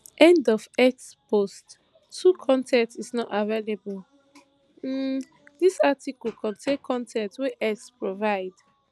end of x post two con ten t is not available um dis article contain con ten t wey x provide